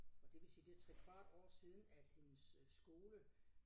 Og det vil sige det trekvart år siden at hendes øh skole